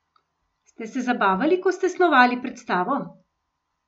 Ste se zabavali, ko ste snovali predstavo?